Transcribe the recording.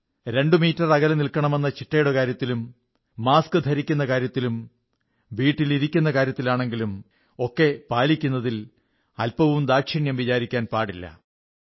ആറടി അകലം പാലിക്കണമെന്നതും മാസ്ക് ധരിക്കുന്ന കാര്യത്തിലും വീട്ടിലിരിക്കുന്ന കാര്യത്തിലാണെങ്കിലും ഒക്കെ ചിട്ട പാലിക്കുന്നതിൽ അല്പവും ദാക്ഷിണ്യം വിചാരിക്കാൻ പാടില്ല